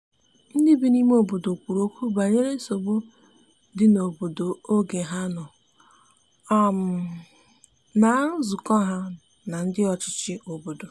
ndi bi ime obodo kwuru okwu banyere nsogbu di n'obodo oge ha nọ na nzukọha na ndi ọchichi obodo